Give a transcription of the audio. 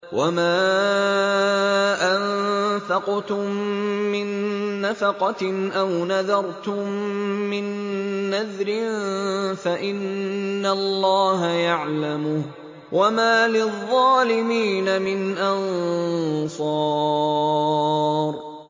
وَمَا أَنفَقْتُم مِّن نَّفَقَةٍ أَوْ نَذَرْتُم مِّن نَّذْرٍ فَإِنَّ اللَّهَ يَعْلَمُهُ ۗ وَمَا لِلظَّالِمِينَ مِنْ أَنصَارٍ